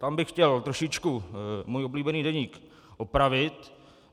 Tam bych chtěl trošičku můj oblíbený deník opravit.